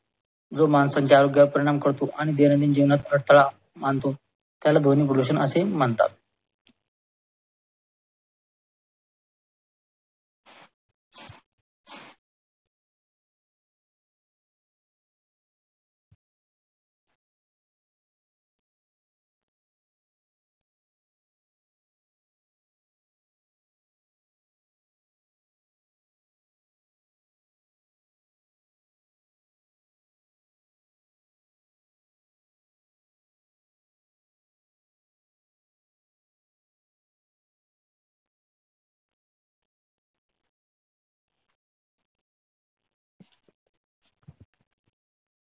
व माणसांच्या आरोग्यास परिणाम करतो आणि दैनंदिन जीवनात अडथळा आणतो. याला ध्वनी प्रदूषण असे म्हणतात.